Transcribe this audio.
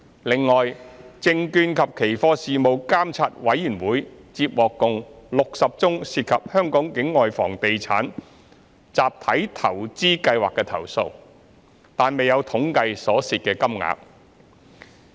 另外，證券及期貨事務監察委員會接獲共60宗涉及香港境外房地產集體投資計劃的投訴，但未有統計所涉金額。